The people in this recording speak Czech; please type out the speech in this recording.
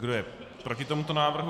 Kdo je proti tomuto návrhu?